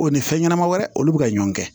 O ni fɛn ɲɛnɛma wɛrɛ olu bi ka ɲɔn kɛ